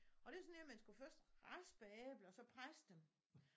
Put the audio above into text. Og det sådan en man skulle første raspe æbler og så presse dem